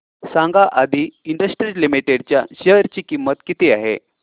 सांगा Aadi industries limited च्या share ची किंमत किती आहे